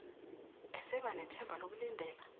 eseba nethemba lokulindela